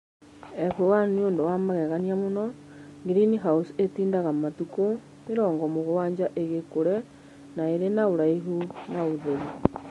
F1 nĩ ũndũ wa magegania mũno; - green house ĩtindaga matukũ mĩrongo mũgwanja ĩgĩkũre na ĩrĩ na ũraihu na ũtheru.